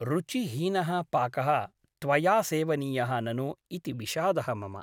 रुचिहीनः पाकः त्वया सेवनीयः ननु इति विषादः मम ।